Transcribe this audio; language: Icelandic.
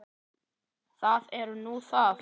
Það er nú það?